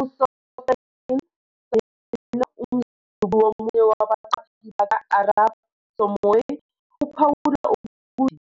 USosten Saina, umzukulu womunye wabaqaphi baka-Arap Samoei uphawula ukuthi